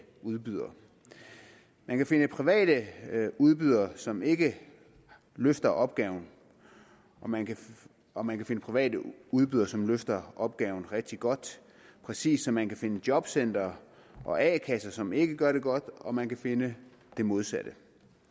udbydere man kan finde private udbydere som ikke løfter opgaven og man og man kan finde private udbydere som løfter opgaven rigtig godt præcis som man kan finde jobcentre og a kasser som ikke gør det godt og man kan finde det modsatte